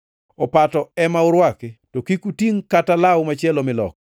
Opato ema urwaki, to kik utingʼ kata law machielo miloko.